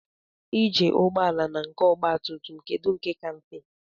Ije ụgbọala na nke ogba tum tum kedụ nke ka mfe?